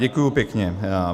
Děkuji pěkně.